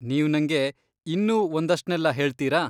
ನೀವ್ ನಂಗೆ ಇನ್ನೂ ಒಂದಷ್ಟ್ನೆಲ್ಲ ಹೇಳ್ತೀರಾ?